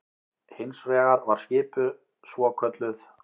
Hins vegar var skipuð svokölluð